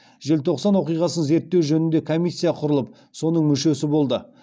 желтоқсан оқиғасын зерттеу жөнінде комиссия құрылып соның мүшесі болды